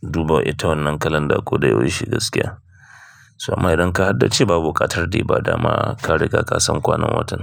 duba ita wannan kalanda ko da yaushe gaskiya. Saboda idan ka haddace babu ƙatar da ba daman ka riga ka san kwanan watan.